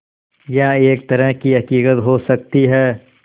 यह एक तरह की हक़ीक़त हो सकती है